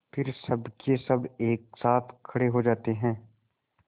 फिर सबकेसब एक साथ खड़े हो जाते हैं